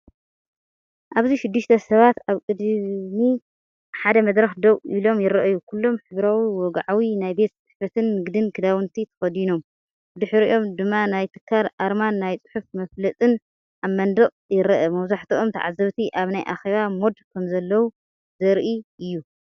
ኣብዚ ሽዱሽተ ሰባት ኣብ ቅድሚ ሓደ መድረኽ ደው ኢሎም ይረኣዩ፡ ኩሎም ሕብራዊ፡ ወግዓዊ ናይ ቤት ጽሕፈትን ንግድን ክዳውንቲ ተኸዲኖም። ብድሕሪኦም ድማ ናይ ትካል ኣርማን ናይ ጽሑፍ መፋለጢን ኣብ መንደቕ ይረአ። መብዛሕትኦም ተዓዘብቲ ኣብ ናይኣኼባ ሞድ ከምዘለዉ ዘርኢእዩ።